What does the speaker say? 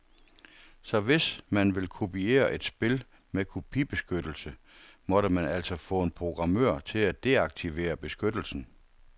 Så hvis man ville kopiere et spil med kopibeskyttelse, måtte man altså få en programmør til at deaktivere beskyttelsen.